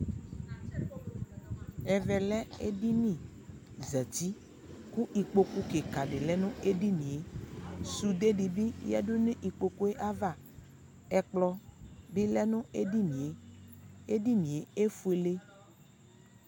ɛvɛ lɛ ɛdini zati kʋ ikpɔkʋ lɛnʋ ɛdiniɛ, sʋdɛ dibi yadʋ nʋ ikpɔkʋɛ aɣa, ɛkplɔ bi lɛnʋ ɛdiniɛ, ɛdiniɛ ɛfʋɛlɛ